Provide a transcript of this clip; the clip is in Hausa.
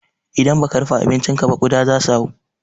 Idan baka rufe abincinka ba kuɗa zasu hau.